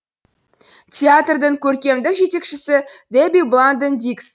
театрдың көркемдік жетекшісі дебби бланден диггс